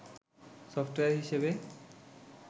software হিসেবে